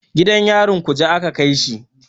Gidan yarin kuje aka kaishi.